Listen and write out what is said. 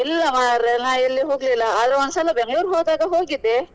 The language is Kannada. ಇಲ್ಲ ಮರ್ರೆ ನಾನು ಎಲ್ಲೂ ಹೋಗ್ಲಿಲ್ಲ ಆದ್ರೆ ಒಂದ್ ಸಲ Bangalore ಗೆ ಹೋದಾಗ ಹೋಗಿದ್ದೆ.